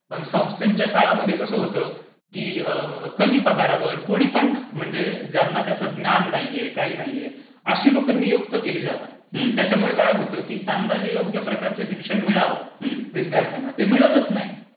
पण संस्थेच्या शाळांमध्ये कसं होतं? की कमी पगारवर कोणी पण म्हणजे ज्यांना त्याचं ज्ञान नाहीये काही नाहीये अशी लोकं नियुक्त केली जातात. हा. त्याच्यामुळे काय होतं की त्यांना जे योग्य प्रकारचे शिक्षण मिळावं विद्यार्थ्यांना ते मिळतच नाही.